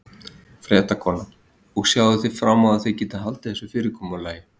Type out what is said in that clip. Fréttakona: Og sjáið þið fram á þið getið haldið þessu fyrirkomulagi?